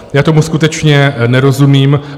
Já tomu skutečně nerozumím.